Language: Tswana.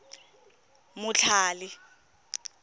motlhale